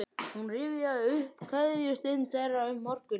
Hún rifjaði upp kveðjustund þeirra fyrr um morguninn.